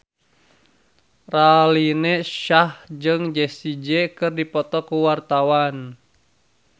Raline Shah jeung Jessie J keur dipoto ku wartawan